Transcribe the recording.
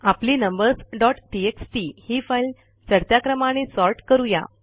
आपली numbers dot TXT ही file चढत्या क्रमाने सॉर्ट करू या